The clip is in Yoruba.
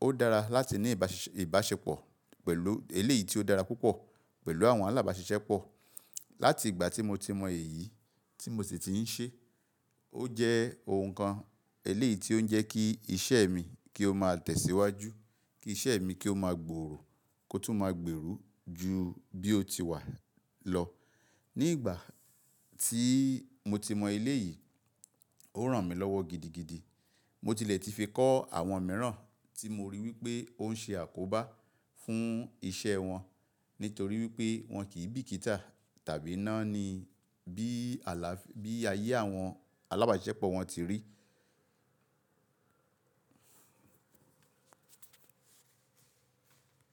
Ó dára láti ní ìbáṣepọ̀ pẹ̀lú eléyìí tí ó dára púpọ̀ pẹ̀lú àwọn alábáṣiṣẹ́pọ̀. Láti ìgbà tí mo ti mọ èyí, tí mo sì ti ń ṣe, ó jẹ́ ohun kan eléyìí tí ó ń jẹ́ kí iṣẹ́ mi kí ó máa tẹ̀síwájú, kí iṣẹ́ mi kí ó máa gbòòrò kó tún máa gbèrú ju bí ó ti wà lọ. Ni ìgbà tí mo ti mọ eléyìí, ó ràn mí lọ́wọ́ gidigidi. Mo tilẹ̀ ti fi kọ́ àwọn mìíràn tí mo rí wípé ó ń ṣe àkóbá fún iṣẹ́ wọn nítorí wípé wọn kì í bìkítà tàbí náání bí ala-- bí ayé àwọn alábáṣiṣẹ́pọ̀ wọn ti rí.